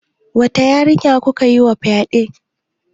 Wata yarinya kuka yima fyaɗe?